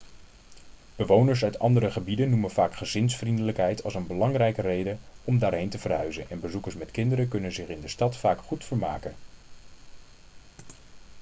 bewoners uit andere gebieden noemen vaak gezinsvriendelijkheid als een belangrijke reden om daarheen te verhuizen en bezoekers met kinderen kunnen zich in de stad vaak goed vermaken